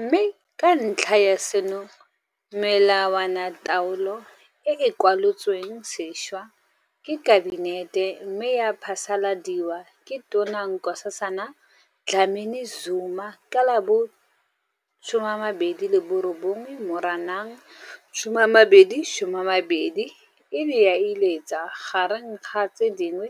Mme ka ntlha ya seno, melawanataolo e e kwalolotsweng sešwa ke Kabinete mme ya phasaladiwa ke Tona Nkosazana Dlamini-Zuma ka la bo 29 Moranang 2020 e ne ya iletsa gareng ga tse dingwe